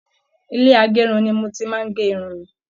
Ilé agérun ní mo ti máa n gé irun mí.